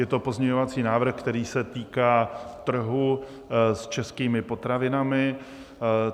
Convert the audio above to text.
Je to pozměňovací návrh, který se týká trhu s českými potravinami.